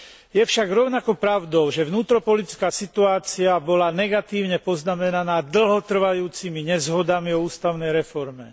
Je však rovnako pravdou, že vnútropolitická situácia bola negatívne poznamenaná dlhotrvajúcimi nezhodami o ústavnej reforme.